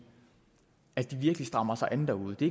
virkelig strammer sig an derude det